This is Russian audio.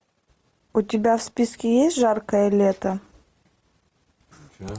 у тебя в списке есть жаркое лето